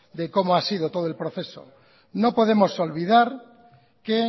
de cómo ha sido todo el proceso no podemos olvidar que